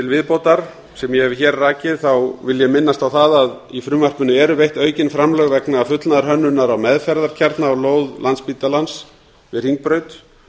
viðbótar sem ég hef hér rakið vil ég minnast á það að í frumvarpinu eru veitt aukin framlög vegna fullnaðarhönnunar á meðferðarkjarna á lóð landspítalans við hringbraut